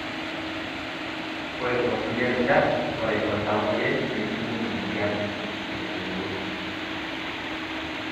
Ore tongulie rishat ,ore oltamoyia nejungu emoyian tentiwoi.